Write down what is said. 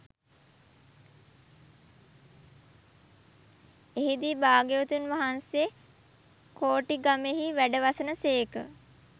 එහිදී භාග්‍යවතුන් වහන්සේ කෝටිගමෙහි වැඩවසන සේක